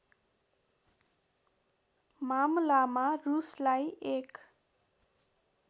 मामलामा रूसलाई एक